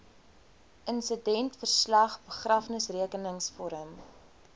insidentverslag begrafnisrekenings vorm